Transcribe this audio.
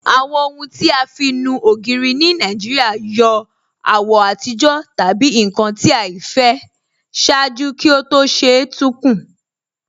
Awọn ọhun ti a fi nú ogiri ni Nigeria yọ awọ atijọ tabi nkan ti aifẹ ṣaaju kí o tó ṣe tun kun.